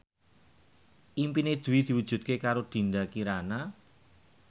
impine Dwi diwujudke karo Dinda Kirana